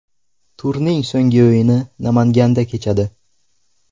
Turning so‘nggi o‘yini Namanganda kechadi.